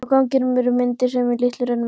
Á ganginum eru myndir í litlum römmum.